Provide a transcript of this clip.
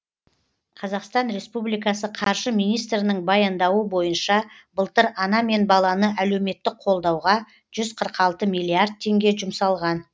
қр қаржы министрінің баяндауы бойынша былтыр ана мен баланы әлеуметтік қолдауға жүз қырық алты миллиард теңге жұмсалған